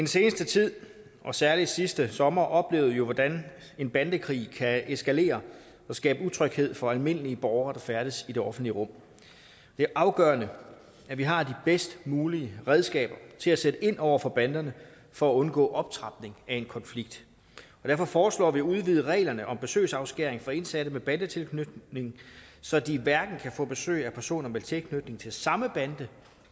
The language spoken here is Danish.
seneste tid og særlig sidste sommer oplevede vi jo hvordan en bandekrig kan eskalere og skabe utryghed for almindelige borgere der færdes i det offentlige rum det er afgørende at vi har de bedst mulige redskaber til at sætte ind over for banderne for at undgå optrapning af en konflikt derfor foreslår vi at udvide reglerne om besøgsafskæring for indsatte med bandetilknytning så de hverken kan få besøg af personer med tilknytning til samme bande